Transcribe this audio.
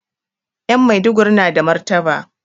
Ƴan Maiduguri na da martaba